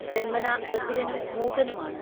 ജന്മനാ ബധിരനും മൂകനുമാണ്